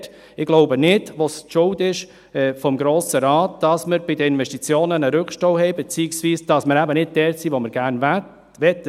Auch hier: Ich denke nicht, dass es die Schuld des Grossen Rates ist, dass wir bei den Investitionen einen Rückstau haben, beziehungsweise dass wir nicht dort sind, wo wir gerne wären.